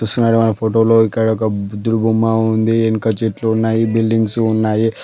Side wall photo లో ఇక్కడ ఒక బుద్ధుని బొమ్మ ఉంది. వెనుక చెట్లు ఉన్నాయి. బిల్డింగ్స్ ఉన్నాయి.